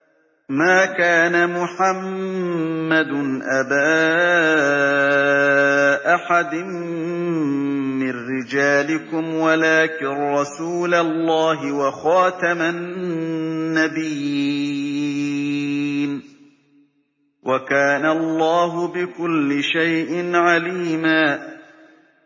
مَّا كَانَ مُحَمَّدٌ أَبَا أَحَدٍ مِّن رِّجَالِكُمْ وَلَٰكِن رَّسُولَ اللَّهِ وَخَاتَمَ النَّبِيِّينَ ۗ وَكَانَ اللَّهُ بِكُلِّ شَيْءٍ عَلِيمًا